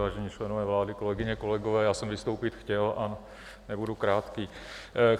Vážení členové vlády, kolegyně, kolegové, já jsem vystoupit chtěl a nebudu krátký.